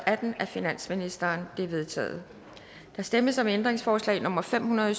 af finansministeren de er vedtaget der stemmes om ændringsforslag nummer fem hundrede og